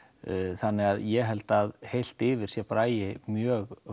þannig að ég held að heilt yfir sé Bragi mjög